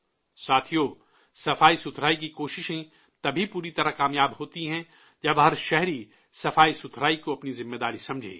ساتھیو، صفائی کی کوشش تبھی پوری طرح کامیاب ہوتی ہے جب ہر شہری صفائی کو اپنی ذمہ داری سمجھے